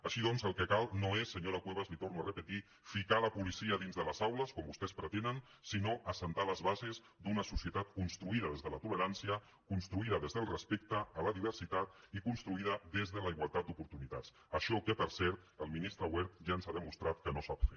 així doncs el que cal no és senyora cuevas li ho torno a repetir ficar la policia dins de les aules com vostès pretenen sinó assentar les bases d’una societat construïda des de la tolerància construïda des del respecte a la diversitat i construïda des de la igualtat d’oportunitats això que per cert el ministre wert ja ens ha demostrat que no sap fer